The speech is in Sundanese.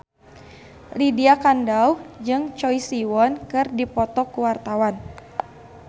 Lydia Kandou jeung Choi Siwon keur dipoto ku wartawan